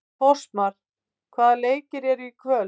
Fossmar, hvaða leikir eru í kvöld?